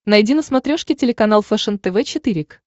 найди на смотрешке телеканал фэшен тв четыре к